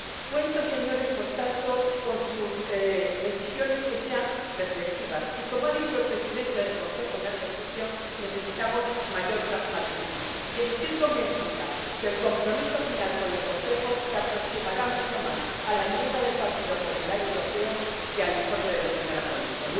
Cuento, Señorías, por tanto, con que sus decisiones sean reflexivas, y, como ha dicho el Presidente en ejercicio del Consejo, necesitamos mayor pragmatismo. Y estoy convencida de que el compromiso final con el Consejo se aproximará mucho más a la enmienda del Partido Popular Europeo que al informe de la señora ponente.